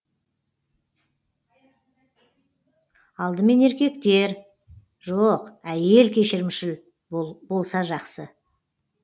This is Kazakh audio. алдымен еркектер жоқ әйел кешірімшіл болса жақсы